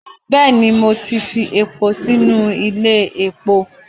bẹẹni, Mo ti fi epó sinu ilé epó